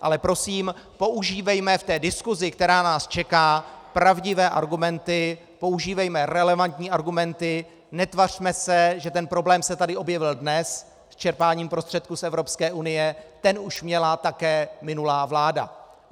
Ale prosím, používejme v té diskusi, která nás čeká, pravdivé argumenty, používejme relevantní argumenty, netvařme se, že ten problém se tady objevil dnes s čerpáním prostředků z Evropské unie, ten už měla také minulá vláda.